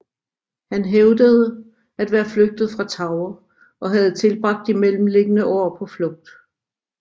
Han hævdede at være flygtet fra Tower og have tilbragt de mellemliggende år på flugt